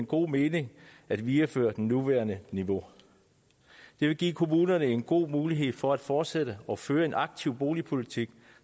god mening at videreføre det nuværende niveau det vil give kommunerne en god mulighed for at fortsætte og føre en aktiv boligpolitik